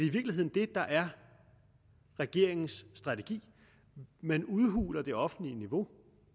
i virkeligheden det der er regeringens strategi man udhuler det offentlige niveau og